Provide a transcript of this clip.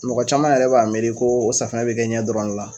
Mɔgɔ caman yɛrɛ b'a miiri ko o safunɛ bɛ kɛ ɲɛ dɔrɔn le la.